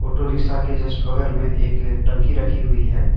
Auto rickshaw के just बगल में एक टंकी रखी हुई है।